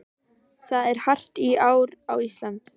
Það er hart í ári á Íslandi.